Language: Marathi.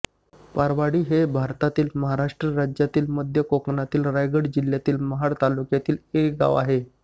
पारवाडी हे भारतातील महाराष्ट्र राज्यातील मध्य कोकणातील रायगड जिल्ह्यातील महाड तालुक्यातील एक गाव आहे